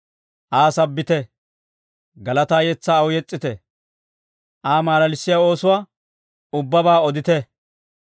Aa sabbite; galataa yetsaa aw yes's'ite. Aa malalissiyaa oosuwaa ubbabaa odite.